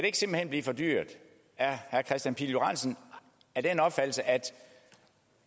ikke simpelt hen blive for dyrt er herre kristian pihl lorentzen af den opfattelse at